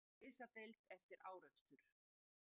Fluttur á slysadeild eftir árekstur